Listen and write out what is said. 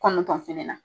Kɔnɔntɔn fana na